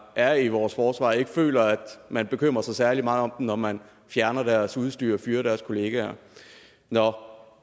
er i vores forsvar ikke føler at man bekymrer sig særlig meget om dem når man fjerner deres udstyr og fyrer deres kollegaer